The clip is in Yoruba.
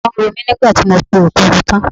Ọwọ́ ń ro mí nígbà tí mo po Èkuru tán.